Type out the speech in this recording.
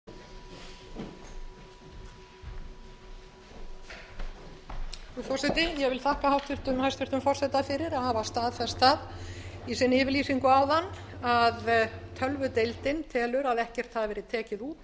frú forseti ég þakka hæstvirtum forseta fyrir að hafa staðfest það í yfirlýsingu sinni áðan að tölvudeildin telur að ekkert hafi verið tekið út